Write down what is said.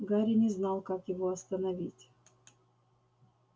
гарри не знал как его остановить